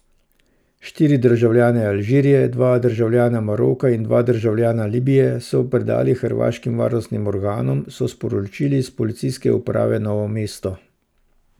Štiri državljane Alžirije, dva državljana Maroka in dva državljana Libije so predali hrvaškim varnostnim organom, so sporočili s Policijske uprave Novo mesto.